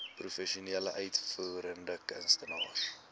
professionele uitvoerende kunstenaars